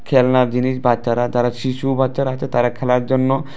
খেলনার জিনিস বাচ্চারা যারা শিশু বাচ্চারা আছে তারা খেলার জন্য।